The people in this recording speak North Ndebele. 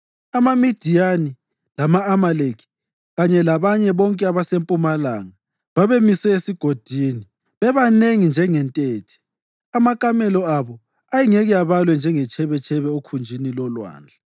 AmaMidiyani lama-Amaleki kanye labanye bonke abasempumalanga babemise esigodini, bebanengi njengentethe. Amakamela abo ayengeke abalwe njengetshebetshebe okhunjini lolwandle.